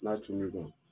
N'a cun n'i kan